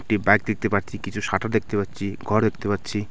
একটি বাইক দেখতে পাচ্ছি কিছু শাটার দেখতে পাচ্ছি ঘর দেখতে পাচ্ছি।